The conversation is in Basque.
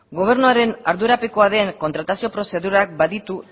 gobernuaren ardurapekoa den kontratazio prozedurak baditu